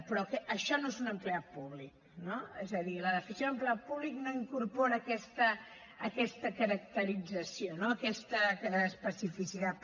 però que això no és un empleat públic no és a dir la definició d’ empleat públic no incorpora aquesta caracterització no aquesta especificitat